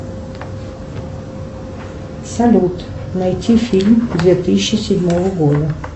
салют найти фильм две тысячи седьмого года